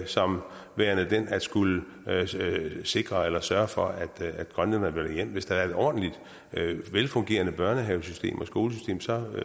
som værende den at skulle sikre eller sørge for at grønlændere vender hjem hvis der var et ordentligt velfungerende børnehavesystem og skolesystem så